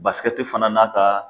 Basikɛi fana n'a ka